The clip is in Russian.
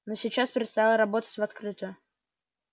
но сейчас предстояло работать в открытую